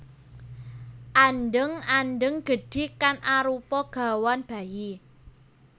Andheng andheng gedhi kang arupa gawan bayi